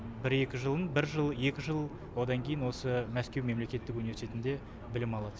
бір екі жылын бір жыл екі жыл одан кейін осы мәскеу мемлектетік университетінде білім алады